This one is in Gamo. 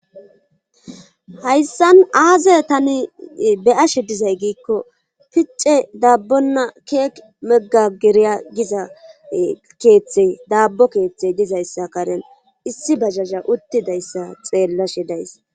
hayssan aaze tani be ashe dizay giikko picce daabbonna keek meggageriya giza keeththe daabbo keeththey dizayssa karen issi basasha uttidayssa xeellashe days